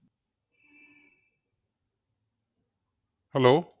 Hello